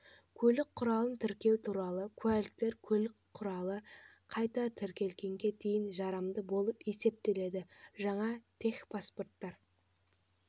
көлік құралын тіркеу туралы куәліктер көлік құралы қайта тіркелгенге дейін жарамды болып есептеледі жаңа техпаспорттар